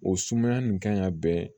O sumaya nin kan ka bɛn